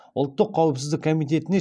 ұлттық қауіпсіздік комитетіне